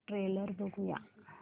trailer बघूया